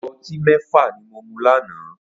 Ìgò ọtí mẹ́fà ni mo mu lánàá